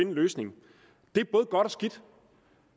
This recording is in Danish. en løsning det er både godt og skidt